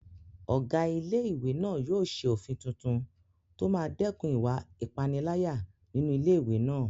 Ọ̀gá ilé-ìwé náà yóò ṣe òfin tuntun tó máa dẹ́kun ìwà ìpániláyà nínú ilé-ìwé náà